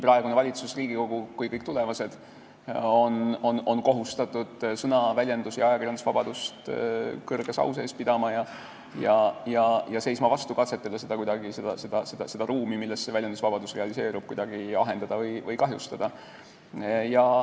Praegune valitsus ja Riigikogu ning ka kõik tulevased on kohustatud sõna-, väljendus- ja ajakirjandusvabadust kõrge au sees pidama ja seisma vastu katsetele seda ruumi, milles see väljendusvabadus realiseerub, kuidagi ahendada või kahjustada.